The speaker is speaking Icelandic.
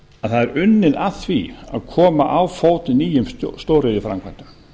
að það er unnið að því að koma á fót nýjum stóriðjuframkvæmdum